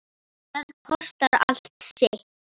Það kostar allt sitt.